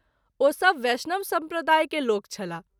ओ सभ बैष्णव सम्प्रदाय के लोग छलाह।